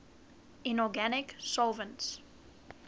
inorganic solvents